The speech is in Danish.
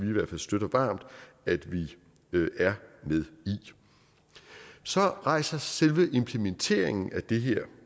i hvert fald støtter varmt at vi er med i så rejser selve implementeringen af det her